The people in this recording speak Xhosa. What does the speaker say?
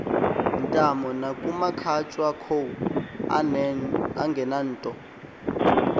ntamo nakumakhatshakhowa angenanto